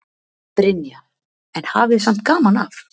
Brynja: En hafið samt gaman af?